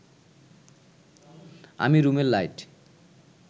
আমি রুমের লাইট